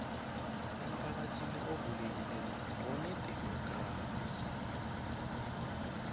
emphakathini ovulekileko nonedemokhrasi